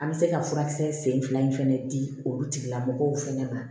An bɛ se ka furakisɛ sen fila in fana di olu tigilamɔgɔw fɛnɛ ma